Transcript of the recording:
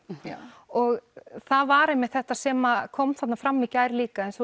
og það var einmitt þetta sem kom þarna fram í gær líka eins